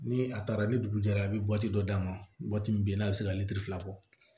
Ni a taara ni dugu jɛra a bɛ dɔ d'a ma min bɛ n'a bɛ se ka litiri fila bɔ